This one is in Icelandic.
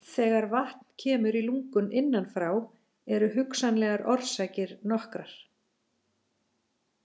Þegar vatn kemur í lungun innan frá eru hugsanlegar orsakir nokkrar.